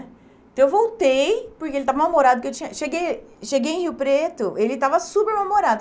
Então, eu voltei, porque ele estava mal-humorado que eu tinha... Cheguei em cheguei em Rio Preto, ele estava super mal-humorado.